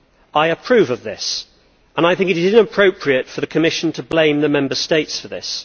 I approve of this and I think it is inappropriate for the Commission to blame the Member States for it.